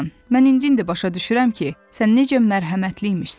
Mən indi-indi başa düşürəm ki, sən necə mərhəmətli imişsən.